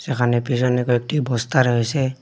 এখানে পিছনে কয়েকটি বস্তা রয়েসে।